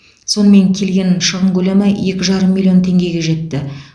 сонымен келген шығын көлемі екі жарым миллион теңгеге жетті